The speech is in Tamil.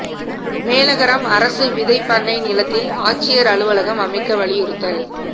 மேலகரம் அரசு விதைப் பண்ணை நிலத்தில் ஆட்சியா் அலுவலகம் அமைக்க வலியுறுத்தல்